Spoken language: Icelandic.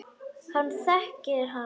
Hann þekkir hann.